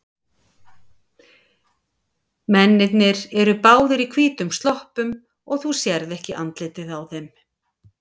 Mennirnir eru báðir í hvítum sloppum og þú sérð ekki andlitið á þeim.